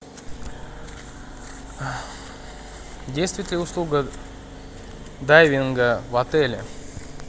действует ли услуга дайвинга в отеле